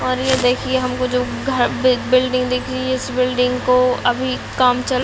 और ये देखिये हमको जो घर बि बिल्डिंग दिख रही है इस बिल्डिंग को अभी काम चल--